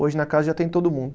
Hoje na casa já tem todo mundo.